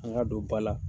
An ka don ba la